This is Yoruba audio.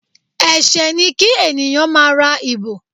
Ẹsẹ ni kí ènìyàn máá ra ìbò